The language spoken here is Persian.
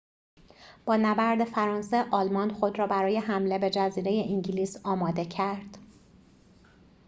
با نبرد فرانسه آلمان خود را برای حمله به جزیره انگلیس آماده کرد